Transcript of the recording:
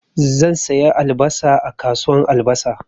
Zan saya albasa a kasuwan albasa.